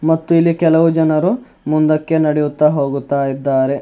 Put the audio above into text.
ಮತ್ತು ಇಲ್ಲಿ ಕೆಲವು ಜನರು ಮುಂದಕ್ಕೆ ನಡೆಯುತ್ತ ಹೋಗುತ್ತ ಇದ್ದಾರೆ.